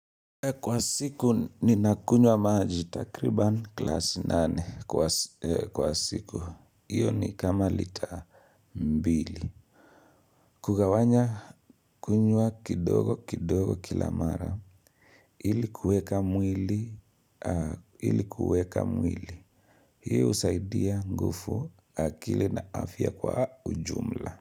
Kwa siku ni nakunywa maji takriban glasi nane kwa siku. Iyo ni kama lita mbili. Kugawanya kunywa kidogo kidogo kilamara. Ili kuweka mwili, ili kuweka mwili. Hii husaidia ngufu akili na afya kwa ujumla.